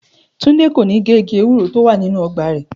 Túndé kò ní gé igi ewúro tó wà nínú o̩gbà rè̩